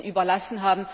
überlassen,